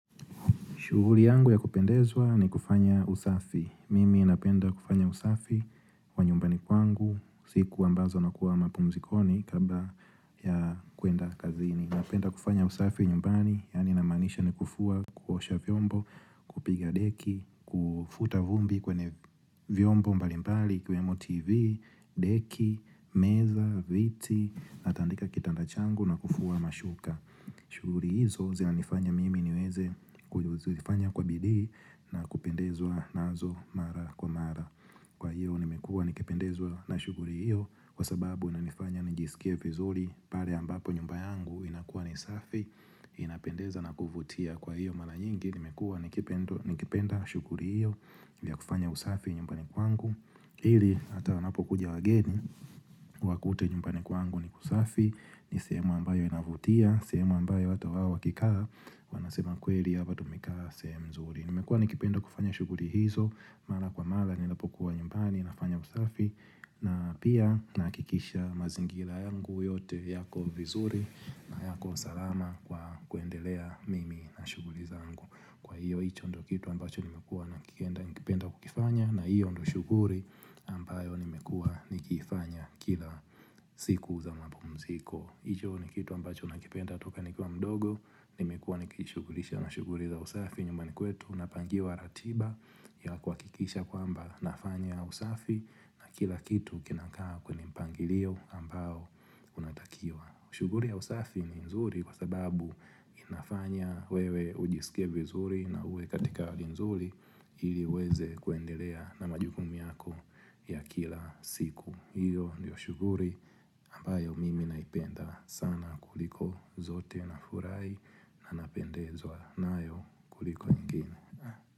Shughuri yangu ya kupendezwa ni kufanya usafi. Mimi napenda kufanya usafi kwa nyumbani kwangu, siku ambazo na kuwa mapumzikoni kabla ya kuenda kazini. Napenda kufanya usafi nyumbani, yani namanisha ni kufua kuosha vyombo, kupiga deki, kufuta vumbi kwenye vyombo mbalimbali, kwenye mativi, deki, meza, viti, natandika kitanda changu na kufua mashuka. Shuhuri hizo zina nifanya mimi niweze kujuzifanya kwa bili na kupendezwa nazo mara kwa mara Kwa hiyo nimekua nikipendezwa na shuguri hiyo Kwa sababu inanifanya nijisikie vizuri pare ambapo nyumbayangu inakuwa nisafi inapendeza na kuvutia kwa hiyo mara nyingi nimekua nikipenda shuguri hiyo vya kufanya usafi nyumbani kwangu Ili ata wanapo kuja wageni wakute nyumbani kwangu ni kusafi ni sehemu ambayo inavutia, semo ambayo hata wa kikaa Wanasema kweli hapa tumekaa sehemu nzuri Nimekua nikipenda kufanya shuguri hizo Mala kwa mala ninapokuwa nyumbani, nafanya usafi na pia nakikisha mazingila yangu yote yako vizuri na yako salama kwa kuendelea mimi na shuguri zangu Kwa hiyo, hicho ndo kitu ambacho nimekua nakikenda kukifanya na hiyo ndo shuguri ambayo nimekua nikifanya kila siku za mapumziko hicho ni kitu ambacho nakipenda toka nikwa mdogo, nimekuwa nikishugurisha na shuguri za usafi nyuma ni kwetu, napangiwa ratiba ya kwa kikisha kwamba nafanya usafi na kila kitu kinakaa kwenye mpangilio ambao unatakiwa. Shuguri ya usafi ni nzuri kwa sababu inafanya wewe ujisikie vizuri na uwe katika hali nzuri iliweze kuendelea na majukumi yako ya kila siku. Iyo ndiyo shuguri ambayo mimi naipenda sana kuliko zote na furai na napendezo nayo kuliko ingine.